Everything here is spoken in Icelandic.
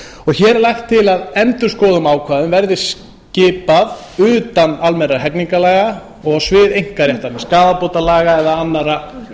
hér er lagt til að endurskoðun ákvæða verði skipað utan almennra hegningarlaga og á svið einkaréttarins skaðabótalaga eða annarra